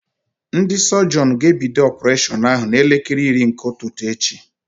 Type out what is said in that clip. Ndị sọjịọn ga-ebido ọpureshọn ahụ n'elekere iri nke ụtụtụ echi.